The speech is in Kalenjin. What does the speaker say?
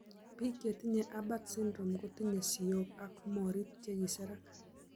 Pik chetinye Apert syndrome kotinye siyok ak morit che kiserak .